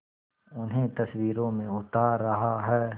उन्हें तस्वीरों में उतार रहा है